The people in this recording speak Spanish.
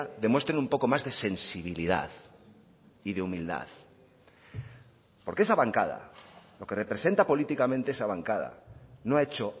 demuestren un poco más de sensibilidad y de humildad porque esa bancada lo que representa políticamente esa bancada no ha hecho